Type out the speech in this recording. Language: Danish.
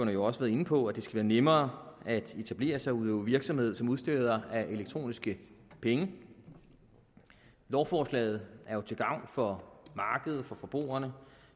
jo også været inde på at det skal være nemmere at etablere sig og udøve virksomhed som udsteder af elektroniske penge lovforslaget er jo til gavn for markedet for forbrugerne